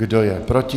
Kdo je proti?